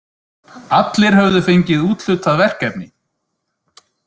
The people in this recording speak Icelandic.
Allir höfðu fengið úthlutað verkefni.